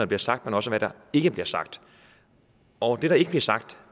bliver sagt men også hvad der ikke bliver sagt og det der ikke blev sagt